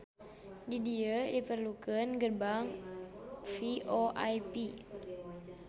Di dieu diperlukeun gerbang VoIP